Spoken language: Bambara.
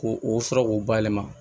K'o o sɔrɔ k'o bayɛlɛma